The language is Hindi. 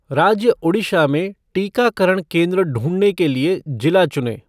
राज्य ओडिशा में टीकाकरण केंद्र ढूँढने के लिए जिला चुनें।